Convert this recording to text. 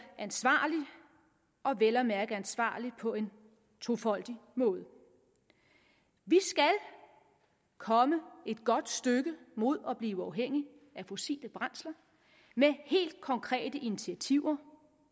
ansvarligt og vel at mærke ansvarligt på en tofoldig måde vi skal komme et godt stykke mod at blive uafhængige af fossile brændsler med helt konkrete initiativer